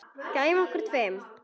Gæjunum okkar tveim.